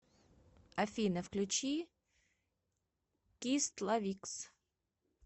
афина включи кистлавикс